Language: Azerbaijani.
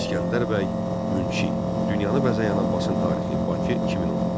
İsgəndər bəy Münşi, Dünyanı bəzəyən Abbasın tarixi, Bakı 2010.